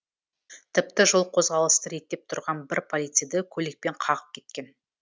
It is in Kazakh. тіпті жол қозғалысын реттеп тұрған бір полицейді көлікпен қағып кеткен